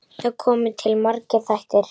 Þar koma til margir þættir.